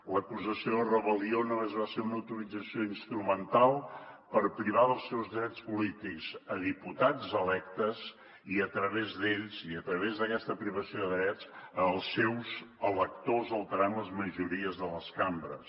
l’acusació de rebel·lió només va ser una utilització instrumental per privar dels seus drets polítics a diputats electes i a través d’ells a través d’aquesta privació de drets els seus electors alterant les majories de les cambres